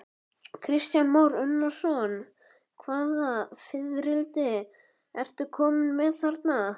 Kristján Már Unnarsson: Hvaða fiðrildi ertu kominn með þarna?